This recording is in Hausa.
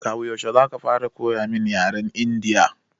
Kawu yaushe Kaga ya dace ka fara koya mun yaren Indiya?